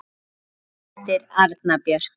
Þín systir, Anna Björk.